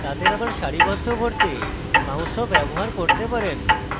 স্থান বদলানো বা তাদের আবার সারিবদ্ধ করতে mouse ও ব্যবহার করতে পারেন